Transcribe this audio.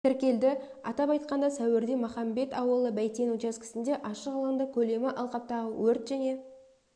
тіркелді атап айтқанда сәуірде махамбет ауылы бәйтен учаскесінде ашық алаңда көлемі алқаптағы өрт және